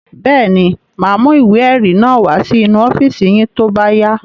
Bẹ́ẹ̀ ni, mà á mú ìwé-ẹ̀rí náà wá sínú ọ́fíísì yín tó bá yá.